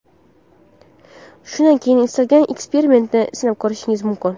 Shundan keyin istalgan eksperimentni sinab ko‘rishingiz mumkin.